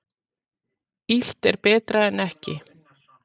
Illt er betra en ekki.